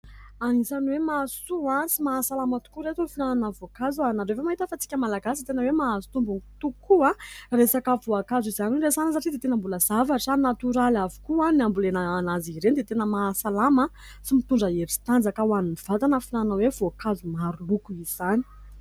Anisany hoe mahasoa sy mahasalama tokoa ireto ny fihinanana voankazo. Ianareo ve mahita fa isika malagasy tena hoe mahazo tombony tokoa, resaka voankazo izany no resahana satria dia tena mbola zavatra natoraly avokoa ny hambolena an'azy ireny dia tena mahasalama sy mitondra hery sy tanjaka ho an'ny vatana ny fihinana hoe voankazo maro loko izany.